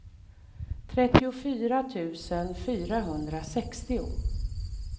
trettiofyra tusen fyrahundrasextio